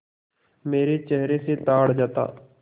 मेरे चेहरे से ताड़ जाता